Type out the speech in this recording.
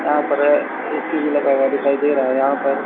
यहां पर ऐ ए_सी भी लगा हुआ दिखाई दे रहा है यहां पर--